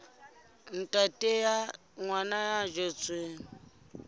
ntate wa ngwana ya tswetsweng